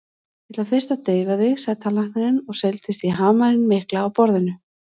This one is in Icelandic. Ég ætla fyrst að deyfa þig, sagði tannlæknirinn og seildist í hamarinn mikla á borðinu.